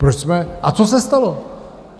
Proč jsme... a co se stalo?